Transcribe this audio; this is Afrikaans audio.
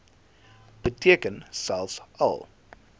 beteken selfs al